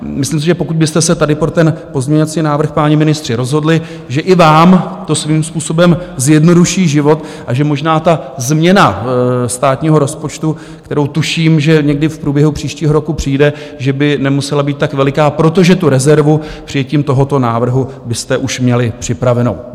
Myslím si, že pokud byste se tady pro ten pozměňovací návrh, páni ministři, rozhodli, že i vám to svým způsobem zjednoduší život a že možná ta změna státního rozpočtu, kterou tuším, že někdy v průběhu příštího roku přijde, že by nemusela být tak veliká, protože tu rezervu přijetím tohoto návrhu byste už měli připravenou.